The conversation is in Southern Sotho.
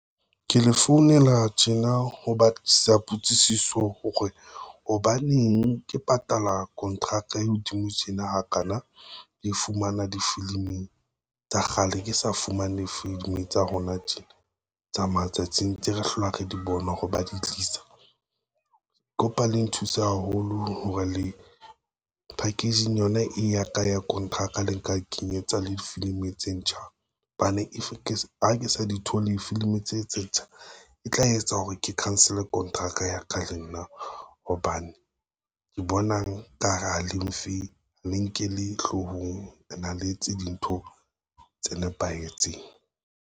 Ke le founela tjena ho batlisisa potsiso hore hobaneng ke patala kontraka e hodimo tjena hakana di fumana difilimi tsa kgale. Ke sa fumane filimi tsa rona tjena tsa matsatsing ntse re hlola re di bona hore ba di tlisa. Kopa Le nthuse haholo hore le packaging yona e ya ka ya kontraka le nka kenyetsa le difilimi tse ntjha hobane efe ke ha ke sa di thole. Filimi tse etsetsa e tla etsa hore ke cancel kontraka ya ka le nna hobane ke bonang ka hara le mfe le nkele hloohong ena le etse dintho tse nepahetseng.